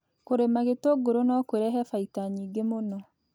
Kũrĩma gĩtunguru no kũrehe baita nyingĩ mũno